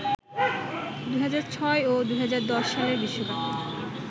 ২০০৬ ও ২০১০ সালের বিশ্বকাপে